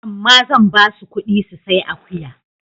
Amma zan ba su ƙuɗi su sai akuya.